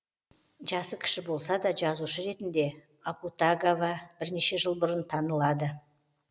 жасы кіші болса да жазушы ретінде акутагава бірнеше жыл бұрын танылады